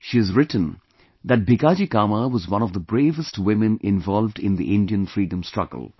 She has written that Bhikaji Cama was one of the bravest women involved in the Indian freedom struggle